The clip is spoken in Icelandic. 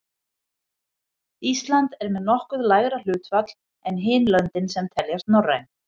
Ísland er með nokkuð lægra hlutfall en hin löndin sem teljast norræn.